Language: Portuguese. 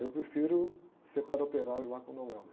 Eu prefiro ser padre operário lá com o.